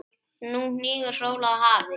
Nú hnígur sól að hafi.